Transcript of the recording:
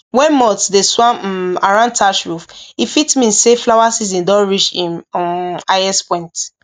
when moths dey swarm um around thatch roof e fit mean say flower season don reach im um highest point